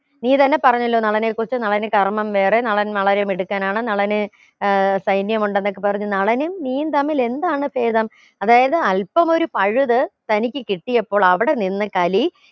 നീ തന്നെ പറഞ്ഞല്ലോ നളനെ കുറിച്ച് നളന് കർമ്മം വേറെ നളൻ വളരെ മിടുക്കനാണ് നളന് ഏർ സൈന്യമുണ്ടെന്നൊക്കെ പറഞ്ഞ് നളനും നീയും തമ്മിൽ എന്താണ് ചേതം അതായത് അൽപ്പം ഒരു പഴുത് തനിക്ക് കിട്ടിയപ്പോൾ അവിടെ നിന്ന് കലി